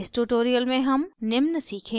इस tutorial में हम निम्न सीखेंगे: